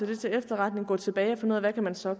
det til efterretning og gå tilbage og finde ud af hvad man så